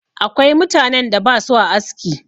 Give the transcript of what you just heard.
Akwai mutanen da ba sua aski.